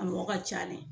A mɔgɔ ka ca de